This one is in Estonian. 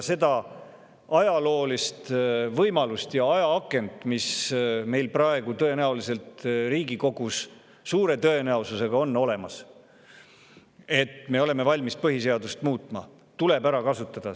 Seda ajaloolist võimalust ja ajaakent, et me oleme praegu Riigikogus suure tõenäosusega valmis põhiseadust muutma, tuleb ära kasutada.